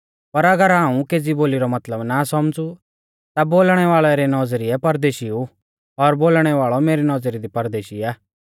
पर अगर हाऊं केज़ी बोली रौ मतलब ना सौमझ़ु ता बोलणै वाल़ै री नौज़रिऐ परदेशी ऊ और बोलणै वाल़ौ मेरी नौज़री दी परदेशी आ